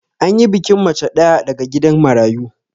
Anyi bikin mace ɗaya daga gidan marayu